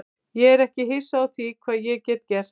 Ég er ekki hissa á því hvað ég get gert.